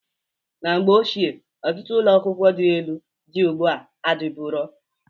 Na mgbe ochie ọtụtụ ụlọakwụkwọ dị elu dị ugbo a adịburo.